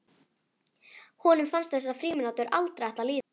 Honum fannst þessar frímínútur aldrei ætla að líða.